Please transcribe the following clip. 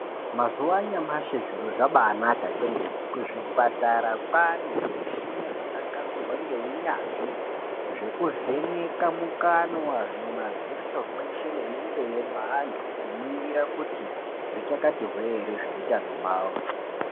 Mazuva anyamashi zviro zvabai naka kwemene kuzvipatara kwane zvi mishina zvaka gadzirwa nge unyanzvi zveku vheneka mukanwa, mumadziso mweshe nemu nze me antu kuningira kuti zvikachati hwee ere zveutanho hwawo.